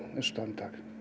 dag